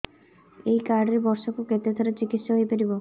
ଏଇ କାର୍ଡ ରେ ବର୍ଷକୁ କେତେ ଥର ଚିକିତ୍ସା ହେଇପାରିବ